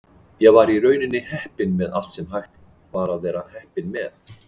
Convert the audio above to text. Ég var í rauninni heppinn með allt sem hægt var að vera heppinn með.